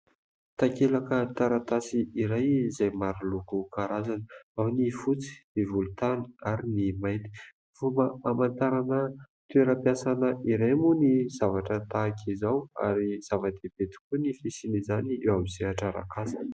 Takelaka taratasy iray izay maro loko karazany : ao ny fotsy, ny volontany ary ny mainty. Fomba hamantarana toeram-piasana iray moa ny zavatra tahaka izao ary zava-dehibe tokoa ny fisian'izany eo amin'ny sehatra arak'asa.